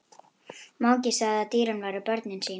Mangi sagði að dýrin væru börnin sín.